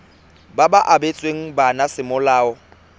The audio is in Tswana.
ba ba abetsweng bana semolao